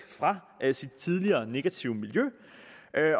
fra sit tidligere negative miljø